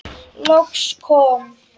Loks kom